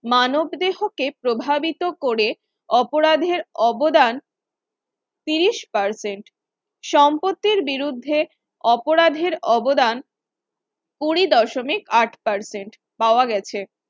মানব দেহ কে প্রভাবিত করে অপরাধের অবদান ত্রিশ percent সম্পত্তির বিরুদ্ধে অপরাধের অবদান কুড়ি দশমিক আট percent পাওয়া গেছে।